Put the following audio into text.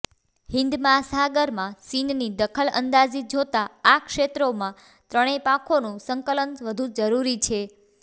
હિન્દ મહાસાગરમાં ચીનની દખલઅંદાજી જોતા આ ક્ષેત્રમાં ત્રણેય પાંખોનું સંકલન વધુ જરૂરી છે